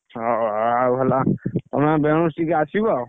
ହଉ, ଆଉ ହେଲା, ତମେ ଦି ଜଣ ମିଶିକି ଆସିବ,